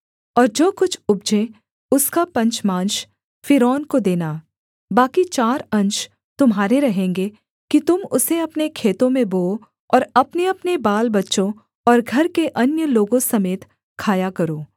और जो कुछ उपजे उसका पंचमांश फ़िरौन को देना बाकी चार अंश तुम्हारे रहेंगे कि तुम उसे अपने खेतों में बोओ और अपनेअपने बालबच्चों और घर के अन्य लोगों समेत खाया करो